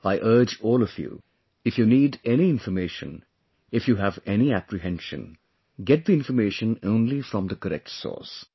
I urge all of you...if you need any information, if you have any apprehension, get the information only from the correct source